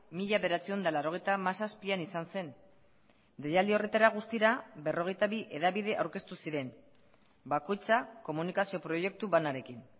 mila bederatziehun eta laurogeita hamazazpian izan zen deialdi horretara guztira berrogeita bi hedabide aurkeztu ziren bakoitza komunikazio proiektu banarekin